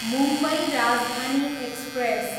Mumbai Rajdhani express